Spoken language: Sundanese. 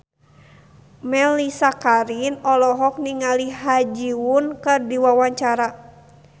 Mellisa Karim olohok ningali Ha Ji Won keur diwawancara